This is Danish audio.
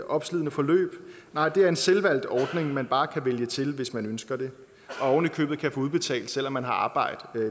opslidende forløb nej det er en selvvalgt ordning man bare kan vælge til hvis man ønsker det og oven i købet kan få udbetalt selv om man har arbejde